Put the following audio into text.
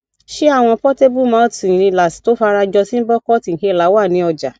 ṣé àwọn portable mouth inhalers tó fara jọ symbocort inhaler wà ni ọjà